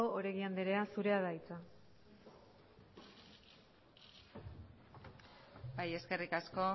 oregi andrea zurea da hitza eskerrik asko